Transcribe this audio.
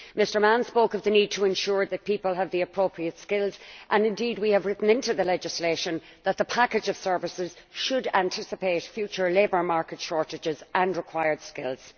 Mr Mann spoke of the need to ensure that people have the appropriate skills and we have written into the legislation that the package of services should anticipate future labour market shortages and required skills.